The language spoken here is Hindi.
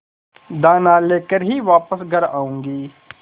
दाना लेकर ही वापस घर आऊँगी